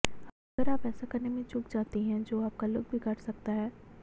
अगर आप ऐसा करने में चूक जाती हैं जो आपका लुक बिगड़ सकता है